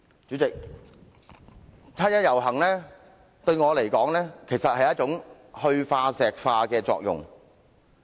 主席，七一遊行對我來說，其實有"去化石化"的作用。